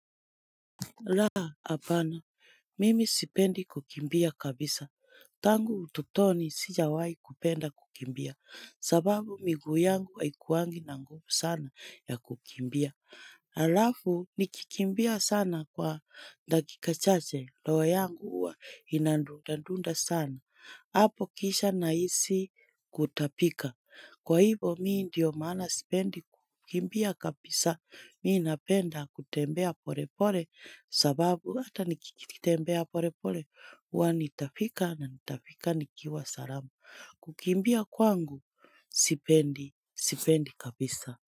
Laa, apana, mimi sipendi kukimbia kabisa. Tangu utotoni sijawai kupenda kukimbia, sababu miguu yangu haikuwangi na nguvu sana ya kukimbia. Alafu, nikikimbia sana kwa dakika chache, loho yangu uwa inandundundu sana. Apo kisha naisi kutapika. Kwa hivo mi ndio mana sipendi kukimbia kabisa. Mii napenda kutembea pore pore sababu hata nikitembea pore pore wanitafika na nitafika nikiwa salamu. Kukimbia kwangu sipendi, sipendi kabisa.